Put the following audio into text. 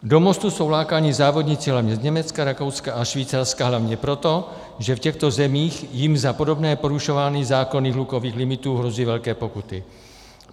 Do Mostu jsou lákáni závodníci hlavně z Německa, Rakouska a Švýcarska hlavně proto, že v těchto zemích jim za podobné porušování zákonů hlukových limitů hrozí velké pokuty.